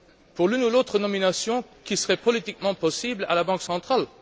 Pour l'une ou l'autre nomination qui serait éventuellement politique à la Banque centrale.